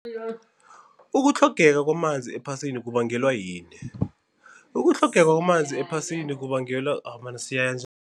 Ukutlhogeka kwamanzi ephasini kubangelwa yini? Ukutlhogeka kwamanzi ephasini kubangelwa